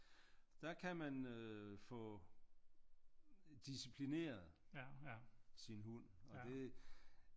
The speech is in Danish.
Der kan man øh få disciplineret sin hund og det